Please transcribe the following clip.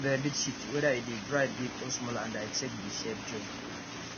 the rabbits shit whether e dey dry big or small and i check the shape join